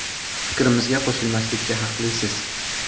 Fikrimizga qo‘shilmaslikka haqlisiz.